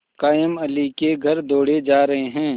कायमअली के घर दौड़े जा रहे हैं